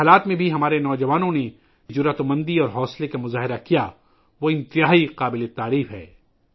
ان حالات میں ہمارے نوجوانوں نے ، جس ہمت اور تحمل کا مظاہرہ کیا ہے ، وہ قابل تعریف ہے